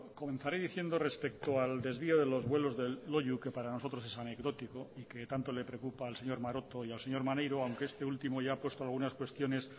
comenzaré diciendo respecto al desvío de los vuelos de loiu que para nosotros es anecdótico y que tanto le preocupa al señor maroto y al señor maneiro aunque este último ya ha puesto algunas cuestiones